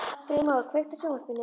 Freymóður, kveiktu á sjónvarpinu.